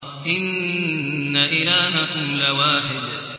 إِنَّ إِلَٰهَكُمْ لَوَاحِدٌ